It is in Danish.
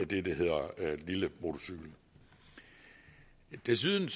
det der hedder lille motorcykel desuden